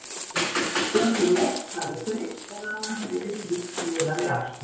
Stöku nótt hafði fryst en annars verið hlýtt miðað við árstíma.